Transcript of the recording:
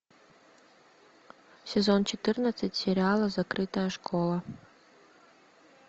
сезон четырнадцать сериала закрытая школа